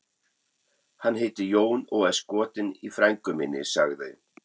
Hann heitir Jón og er skotinn í frænku minni, sagði